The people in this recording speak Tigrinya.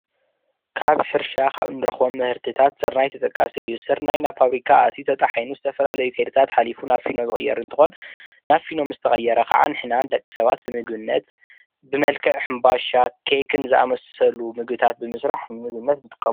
እዚ ምስሊ ኣብ ሕርሻ ዝርከብ ኮይኑ ስርናይ ይበሃል ን ዝተፈላለዩ ንምግቢ ዓይነት የገልግል።